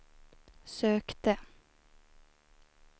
sökte